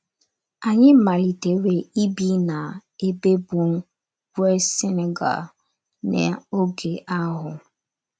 Anyị malitere ibi n’ebe bụ́ West Senegal n’oge ahụ.